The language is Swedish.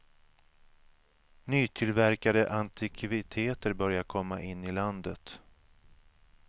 Nytillverkade antikviteter börjar komma in i landet.